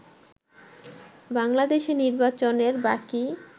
বাংলাদেশে নির্বাচনের বাকী